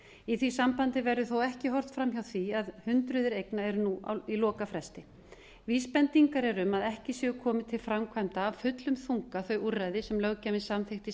í því sambandi verður þó ekki horft framhjá því að hundruð eigna eru nú í lokafresti vísbendingar eru um að ekki séu komin til framkvæmda af fullum þunga þau úrræði sem löggjafinn samþykkti